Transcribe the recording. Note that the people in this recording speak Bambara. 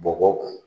Bɔgɔ